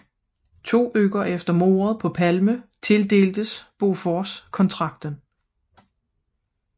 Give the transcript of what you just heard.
To uger efter mordet på Palme tildeltes Bofors kontrakten